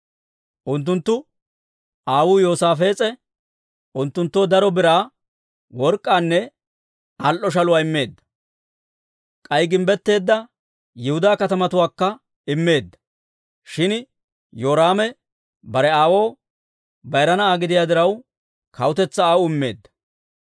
Unttunttu aawuu Yoosaafees'e unttunttoo daro biraa, work'k'aanne al"o shaluwaa immeedda; k'ay gimbbetteedda Yihudaa katamatuwaakka immeedda. Shin Yoraame bare aawoo bayira na'aa gidiyaa diraw, kawutetsaa aw immeedda.